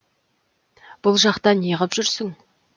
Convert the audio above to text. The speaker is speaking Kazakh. бұл жақта не ғып жүрсің